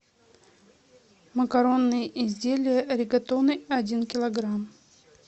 макаронные изделия ригатоны один килограмм